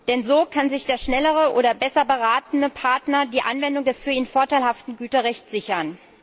Denn so kann sich der schnellere oder besser beratene Partner die Anwendung des für ihn vorteilhaften Güterrechts sichern.